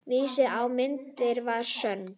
Vissi að myndin var sönn.